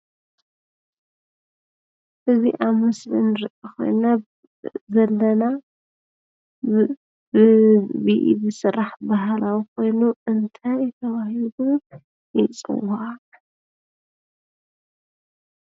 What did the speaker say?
እዚ ኣብ ምስሊ ንሪኦ ዘለና ብኢድ ዝስራሕ ባህላዊ ኮይኑ እንታይ ተባሂሉ ይፅዋዕ?